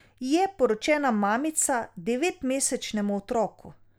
Je poročena mamica devet mesečnemu otroku.